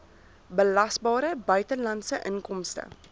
belasbare buitelandse inkomste